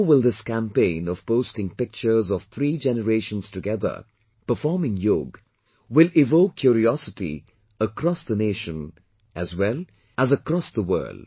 So will this campaign of posting pictures of three generations together performing yoga will evoke curiosity across the nation as well as across the world